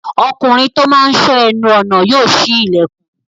Ọkùnrin tó máa n sọ́ ẹnu ọnà yóò ṣí ilẹ̀kùn